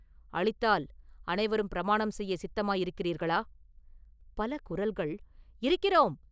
அளித்தால் அனைவரும் பிரமாணம் செய்யச் சித்தமாயிருக்கிறீர்களா?” பல குரல்கள் “இருக்கிறோம்!